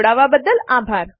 જોડાવા બદ્દલ આભાર